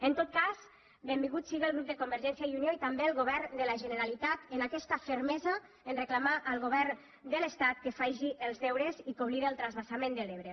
en tot cas benvinguts siguen el grup de convergència i unió i també el govern de la generalitat en aquesta fermesa a reclamar al govern de l’estat que faci els deures i que oblide el transvasament de l’ebre